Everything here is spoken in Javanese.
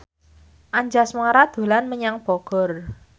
Anjasmara dolan menyang Bogor